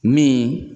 Min